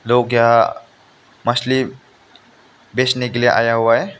लोग यहा मछली बेचने के लिए आया हुआ है।